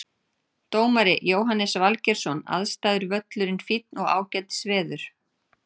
Dómari Jóhannes Valgeirsson Aðstæður Völlurinn fínn og ágætis veður.